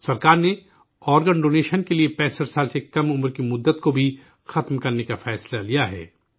سرکار نے organ donation کے لیے 65 سال سے کم عمر کی عمر کی حد کو بھی ختم کرنے کا فیصلہ لیا ہے